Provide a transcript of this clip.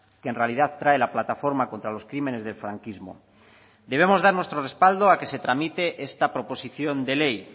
que en realidad trae la plataforma contra los crímenes del franquismo debemos dar nuestro respaldo a que se tramite esta proposición de ley